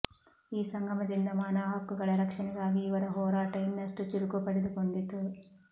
ಈ ಸಂಗಮದಿಂದ ಮಾನವಹಕ್ಕುಗಳ ರಕ್ಷಣೆಗಾಗಿ ಇವರ ಹೋರಾಟ ಇನ್ನಷ್ಟು ಚುರುಕು ಪಡೆದುಕೊಂಡಿತು